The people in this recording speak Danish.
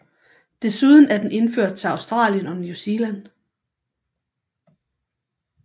Desuden er den indført til Australien og New Zealand